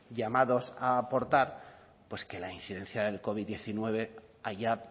llamados a aportar pues que la incidencia del covid diecinueve haya